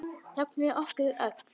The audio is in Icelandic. Jafnvel okkur öll.